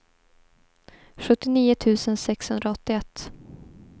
sjuttionio tusen sexhundraåttioett